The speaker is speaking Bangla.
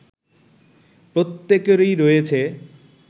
প্রত্যেকেরই রয়েছে